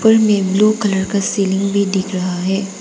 ऊपर में blue colour का सीलिंग भी दिख रहा है।